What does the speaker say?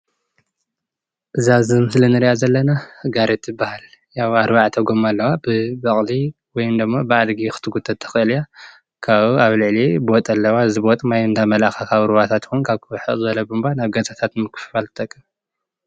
እዛ ምስሊ እንሪ ዘለና ጋሪ ትበሃል፣ ያው 4ተ ጎማ ኣለዋ ብበቕሊ ወይ ድማ ብኣድጊ ክትጉተት ትኽእል እያ ካብኡ ኣብ ላዕሊ ቦጥ ኣለዋ እዚ ቦጥ ድማ ማይ እንዳመልኣኻ ካብ ሩባታት ይኹን ካብ ርሕቕ ዝበለ ቧንቧ ናብ ገዛታት ንምክፍፋል ትጠቅም።